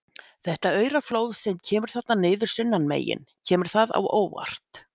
Þetta aurflóð sem kemur þarna niður sunnanmegin, kemur það á óvart?